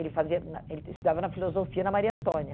Ele fazia na ele estudava na filosofia na Maria Antônia.